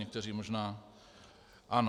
Někteří možná ano.